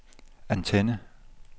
antenne